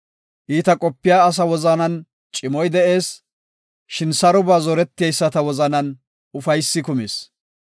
Iita qopiya asaa wozanan cimoy de7ees; shin saroba zoreteyisata wozanan ufaysay kumees.